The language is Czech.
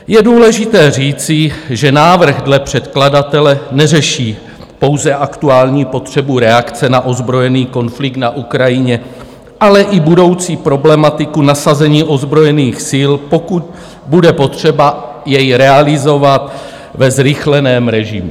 Je důležité říci, že návrh dle předkladatele neřeší pouze aktuální potřebu reakce na ozbrojený konflikt na Ukrajině, ale i budoucí problematiku nasazení ozbrojených sil, pokud bude potřeba je realizovat ve zrychleném režimu.